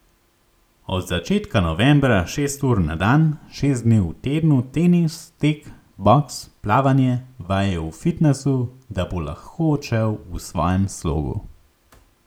Od začetka novembra šest ur na dan, šest dni v tednu tenis, tek, boks, plavanje, vaje v fitnesu, da bo lahko odšel v svojem slogu.